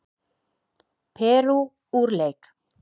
Perú úr leik